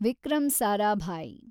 Vikram Sarabhai